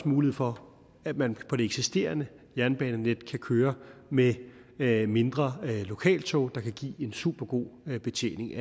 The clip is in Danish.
mulighed for at man på det eksisterende jernbanenet kan køre med med mindre lokaltog der kan give en supergod betjening i